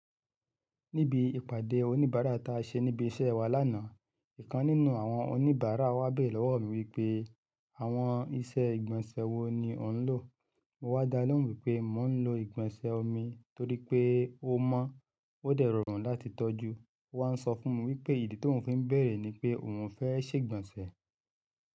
Níbi ìpàdé oníbàárà ta ṣe níbi iṣẹ́ wa lánàá, ìkan nínú àwọn oníbàárà wa beerẹ̀ lọ́wọ́ mi wípé àwọn iṣẹ́ ìgbọ̀nsẹ̀ wo ni òún lò. Mo wá dá a lóhùn wípé mo ń lo ìgbọ̀nsẹ̀ omi torí pé ó mọ́, ó dẹrọrùn láti tọ́jú. Ó wá sọ fún mi wípé ìdí tó ń fi bẹ̀rẹ̀ ni pé òun fẹ́ ṣègbọ̀nsẹ̀